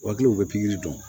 U hakiliw bɛ pikiri dɔn